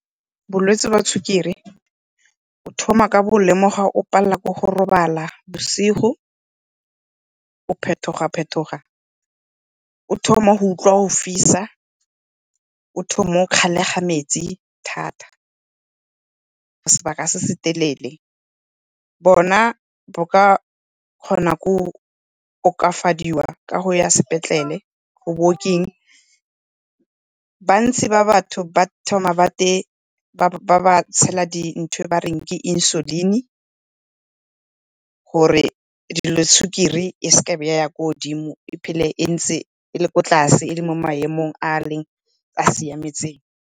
Bolwetse jwa sukiri o thoma ka go lemoga o palelwa ke go robala bosigo, o phetoga-phetoga, o thoma go utlwa go fisa, o thoma go kgalega metsi thata sebaka se se telele. Bona bo ka kgona go okafadiwa ka go ya sepetlele . Bantsi ba batho ba thoma ba ba tshela ntho e bareng ke insulin-i gore sukiri e seke ya ya kwa godimo e phele ntse e le ko tlase e le mo maemong a siametseng.